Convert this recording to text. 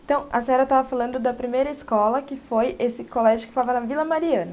Então, a senhora estava falando da primeira escola, que foi esse colégio que estava na Vila Mariana.